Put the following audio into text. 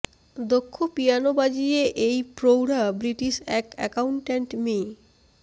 দক্ষ পিয়ানো বাজিয়ে এই প্রৌঢ়া ব্রিটিশ এক অ্যাকাউটেন্ট মি